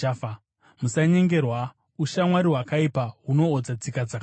Musanyengerwa: “Ushamwari hwakaipa hunoodza tsika dzakanaka.”